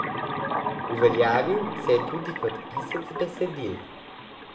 Uveljavil se je tudi kot pisec besedil.